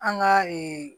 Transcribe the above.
An ka ee